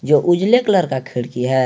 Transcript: जो उजले कलर का खिड़की है।